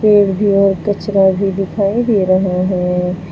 पेड़ भी और कचरा भी दिखाई दे रहा है।